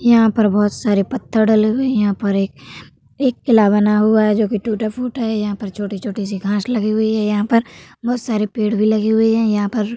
यहाँ पर बोहोत सारे पत्थर डले हुए हैं। यहाँ पर एक एक किला बना हुआ है जोकि टूटा-फूटा है। यहाँ पर छोटी-छोटी सी घांस लगी हुई है। यहाँ पर बहोत सारे पेड़ भी लगे हुए है। यहाँ पर --